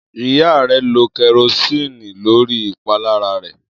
Iya rẹ lo kerosene lori ipalara rẹ.